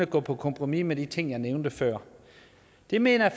går på kompromis med de ting jeg nævnte før det mener